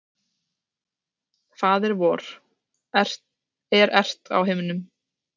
Faðir vor, er ert á himnum.